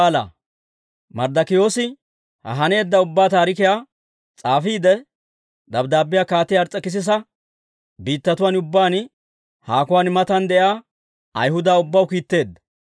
Marddokiyoosi ha haneedda ubbaa taarikiyaa s'aafiide dabddaabbiyaa Kaatiyaa Ars's'ekisisa biittatuwaan ubbaan, haakuwaan matan, de'iyaa Ayhuda ubbaw kiitteedda.